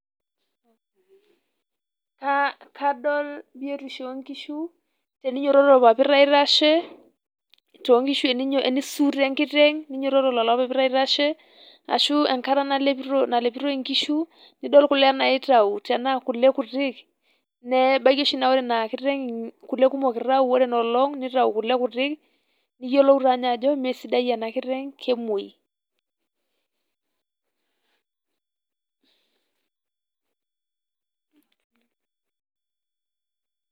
kadol biyotisho oo nkishu, tenenyototo irpapit aitashe too nkishu, teneisuuto enkiteng' nenyototo lolo papit aitashe, ashu enkata nalepitoi inkishu, nidol kule naitayu te naa kule kuti nebaiki oshi naa ore ina kiteng' kule kumok eitayu ore ina olong', neitayu kuule kuti niyiolou taa ninye ajo mee sidai ena kiteng' kemwoi.